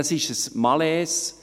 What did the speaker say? Das ist ein Malaise.